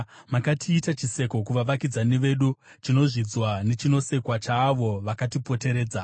Makatiita chiseko kuvavakidzani vedu, chinozvidzwa nechinosekwa chaavo vakatipoteredza.